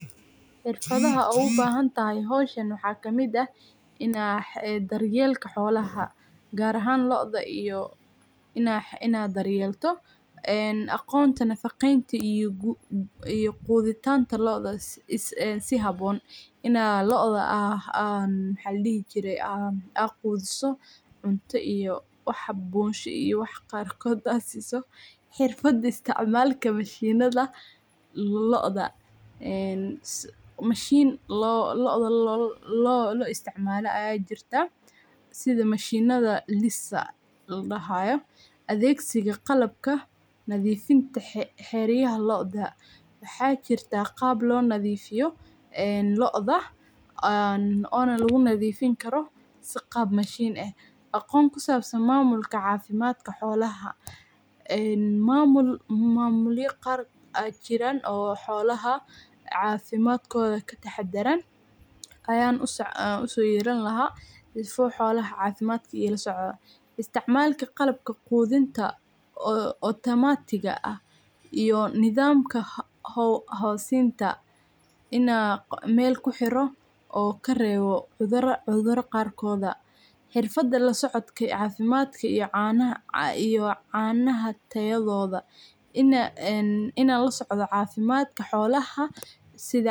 Xirfadaha aad howsha uga bahantahay waxa kamid eh , daryelka holaha .Waxyaabaha dabiiciga ah sida uumiga cayayaanka, cayayaanka duurjoogta ah, ama cuntooyinka dabiiciga ah ee ka hortaga locda ayaa ah hab fiican oo loo xakameeyo locda. Tusaale ahaan, dhirta sida basil iyo neem waxay leeyihiin awood ay kaga hortagaan cayayaanka. Lasoco cafimadka xolaha , isticmalka qalabka automatiga ah howsinta ina ,mel kuhiro oo karewo cudura qarkoda , xirfada losocodka ee canaha tayadoda ina lasocda cafimadka holaha sidha,